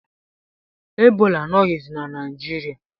Ebola anọghizi na Naijiriia